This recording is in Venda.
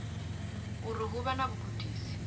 uri hu vha na vhugudisi